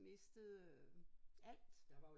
Mistede øh alt